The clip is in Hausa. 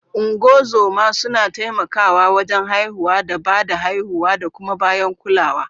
Ungozoma suna taimakawa wajen haihuwa da ba da haihuwa da kuma bayan kulawa.